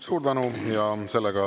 Suur tänu!